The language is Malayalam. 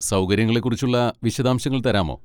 സൗകര്യങ്ങളെക്കുറിച്ചുള്ള വിശദാംശങ്ങൾ തരാമോ?